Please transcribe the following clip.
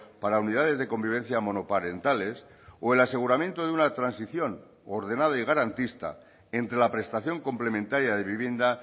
para unidades de convivencia monoparentales o el aseguramiento de una transición ordenada y garantista entre la prestación complementaria de vivienda